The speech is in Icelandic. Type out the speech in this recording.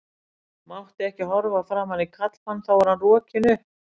Mátti ekki horfa framan í karlmann þá var hann rokinn upp.